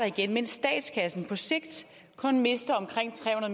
igen mens statskassen på sigt kun mister omkring tre